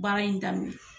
Baara in daminɛ